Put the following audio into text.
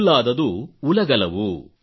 ಕಲ್ಲಾದದು ಉಲಗಲವು